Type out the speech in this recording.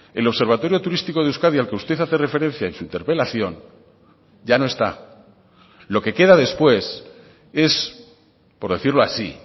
el observatorio turístico de euskadi al que usted hace referencia en su interpelación ya no está lo que queda después es por decirlo así